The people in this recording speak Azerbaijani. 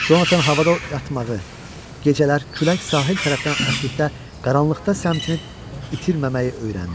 Conatan havada oyatmağı, gecələr külək sahil tərəfdən əsdikdə qaranlıqda səmtini itirməməyi öyrəndi.